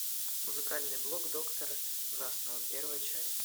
музыкальный блог доктора ужасного первая часть